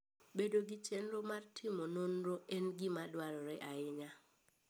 Bedo gi chenro mar timo nonro en gima dwarore ahinya.